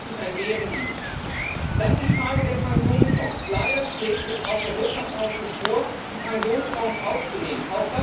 Das wäre ein richtiger Bärendienst. Zur Frage der Pensionsfonds Leider schlägt jetzt auch der Wirtschaftsausschuss vor, die Pensionsfonds auszunehmen.